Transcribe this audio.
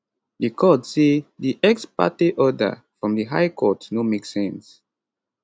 di court say di ex parte order from di high court no make sense